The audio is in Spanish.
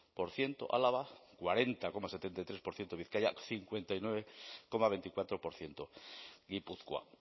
por ciento álava cuarenta coma setenta y tres por ciento bizkaia el cincuenta y nueve coma veinticuatro por ciento gipuzkoa